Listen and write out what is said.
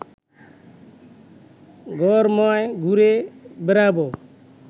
ঘরময় ঘুরে বেড়াবে